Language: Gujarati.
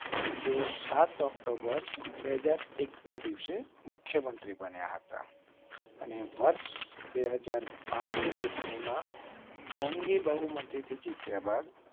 તેઓ સાત ઓક્ટોબર બે હાજર એક ના દિવસે મુખ્ય મંત્રી બન્યા હતા. વર્ષ બે હાજર બાર ની ચૂંટણી માં જંગી બહુમતી થી જીત્યા બાદ.